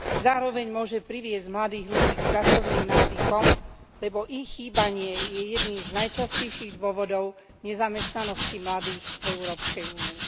Zároveň môže priviesť mladých ľudí k pracovným návykom, lebo ich chýbanie je jedným z najčastejších dôvodov nezamestnanosti mladých v Európskej únii.